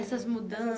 Essas